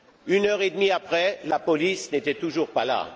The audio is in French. Une heure et demie après, la police n'était toujours pas là.